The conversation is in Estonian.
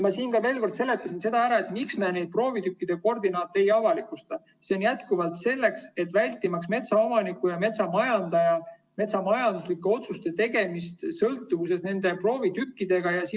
Ma seletasin, miks me proovitükkide koordinaate ei avalikusta: selleks, et vältida metsaomaniku ja metsamajandaja metsamajanduslike otsuste tegemise sõltuvust nendest proovitükkidest.